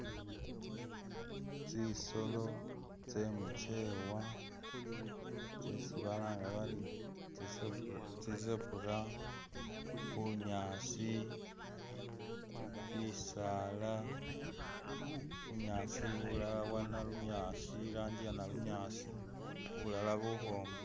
Tsisolo tse'mukyewa tsesi balanga bari tsi'zebra, bunyaasi, bisala, bunyaasi bulala bwa nalunyaasi irangi ya'nalunyaasi bulala bulukhwoma.